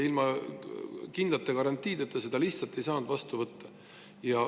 Ilma kindlate garantiideta seda lihtsalt ei saanud vastu võtta.